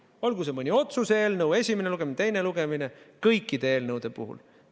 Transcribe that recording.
Olgu see mõni otsuse eelnõu, esimene lugemine või teine lugemine – kõikide eelnõude puhul.